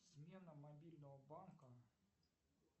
смена мобильного банка